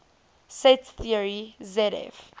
set theory zf